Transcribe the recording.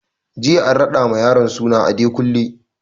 Jiya an raɗa ma yaron suna Adekunle